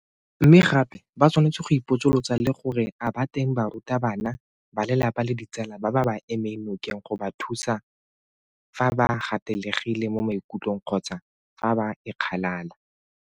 Mme gape ba tshwanetse go ipotsolotsa le gore a ba teng barutabana, balelapa le ditsala ba ba ba emeng nokeng go ba thusa fa ba gatelegile mo maikutlong kgotsa fa ba ikgalala?